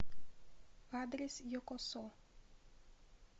адрес йокосо